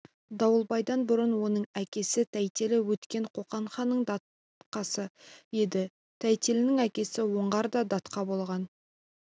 дауылбайдан бұрын оның әкесі тәйтелі өткен қоқан ханының датқасы еді тәйтелінің әкесі оңғар да датқа болған